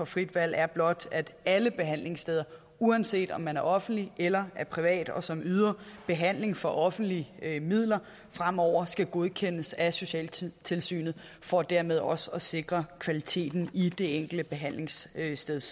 frit valg er blot at alle behandlingssteder uanset om man er offentlig eller privat og som yder behandling for offentlige midler fremover skal godkendes af socialtilsynet for dermed også at sikre kvaliteten i det enkelte behandlingssteds